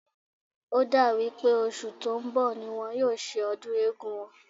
Ó dà wí pé oṣù tó ń bọ̀ ni wọ́n yóò ṣe ọdún Eégún wọn